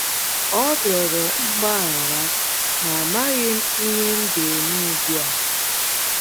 Ọ rịọrọ mgbaghara, ma amaghị m ihe m ga -- eme ugbu a. ”